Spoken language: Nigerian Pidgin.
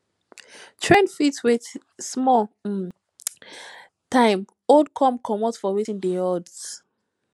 trend fit with small um time old come comot for wetin dey hot